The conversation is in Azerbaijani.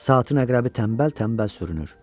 Saatin əqrəbi tənbəl-tənbəl sürünür.